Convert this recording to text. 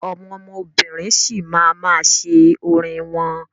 Àwọn obìnrin sì ma máa ṣe orin wọn.